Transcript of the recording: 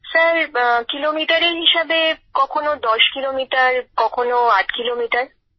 sir কিলোমিটারের হিসাবে কখনও দশ কিলোমিটার কখনও আট কিলোমিটার